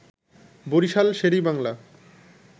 Barishal Sher-e Bangla